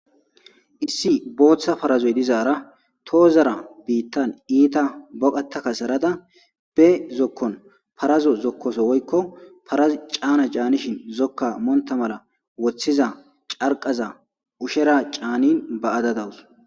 Issi bootha parazoy dizara toozara itta boqata kasarada be zokon parazoa zokoso woyko Paras caana caanishi zoka monta mala wothiza carqaza ushera caanin ba'ada daws.